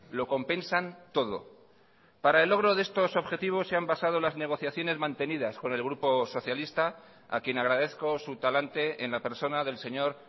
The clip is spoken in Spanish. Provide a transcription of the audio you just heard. lo compensan todo para el logro de estos objetivos se han basado las negociaciones mantenidas con el grupo socialista a quien agradezco su talante en la persona del señor